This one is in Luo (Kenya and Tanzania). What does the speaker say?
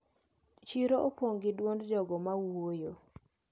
Chiro opong` gi duond jogo mawuoyo.